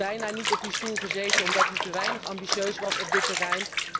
U had bijna niet op die stoel gezeten omdat u te weinig ambitieus was op dit terrein.